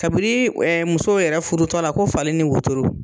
Kabiri muso yɛrɛ furutɔla ko fali ni wotoro.